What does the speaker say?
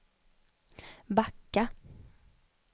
backa